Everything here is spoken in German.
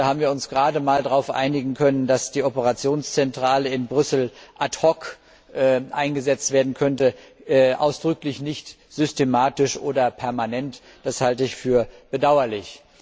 Da haben wir uns gerade mal darauf einigen können, dass die Operationszentrale in Brüssel ad hoc eingesetzt werden könnte, ausdrücklich nicht systematisch oder permanent das halte ich für bedauerlich.